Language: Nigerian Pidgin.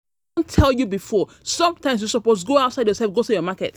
I don tell you um before, sometimes you suppose go outside yourself go sell your market